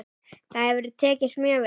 Það hefur tekist mjög vel.